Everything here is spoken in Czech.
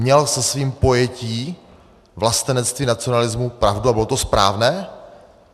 Měl se svým pojetím vlastenectví, nacionalismu pravdu a bylo to správné?